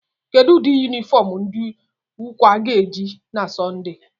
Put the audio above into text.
Kedụ ụdị yunifọm ndị ukwe ga-eyi na sọnde?